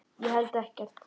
Ég held ekkert.